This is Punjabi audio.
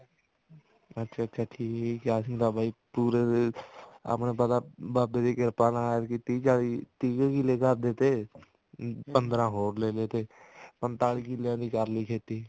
ਅੱਛਾ ਅੱਛਾ ਠੀਕ ਹੈ ਬਾਈ ਅਸੀਂ ਤਾਂ ਪੂਰੇ ਆਪਣੇ ਕੋਲ ਤਾਂ ਬਾਬਾ ਜੀ ਦੀ ਕਿਰਪਾ ਨਾਲ ਐਤਕੀ ਤੀਹ ਚਾਲੀ ਤੀਹ ਕੁ ਕਿੱਲੇ ਘਰ ਦੇ ਤੇ ਪੰਦਰਾਂ ਹੋਰ ਲੈਲੇ ਤੇ ਪੰਤਾਲੀ ਕਿੱਲਿਆਂ ਦੀ ਕਰਲੀ ਖੇਤੀ